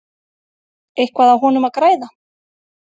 Eitthvað á honum að græða?